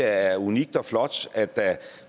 er unikt og flot at der